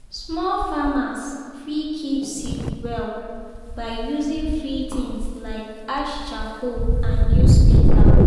small farmers fit keep seed well by using free things like ash charcoal and newspaper.